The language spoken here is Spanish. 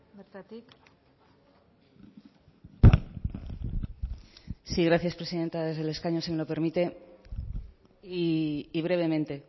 bertatik sí gracias presidenta desde el escaño si me lo permite y brevemente